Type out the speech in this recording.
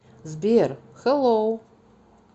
сбер хэлоу